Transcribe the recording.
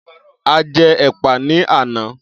A jẹ́ ẹ̀pà ní àná.